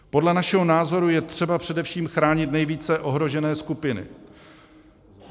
Podle našeho názoru je třeba především chránit nejvíce ohrožené skupiny.